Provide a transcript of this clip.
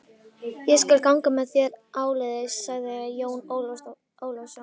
Ég skal ganga með þér áleiðis, sagði Jón Ólafsson.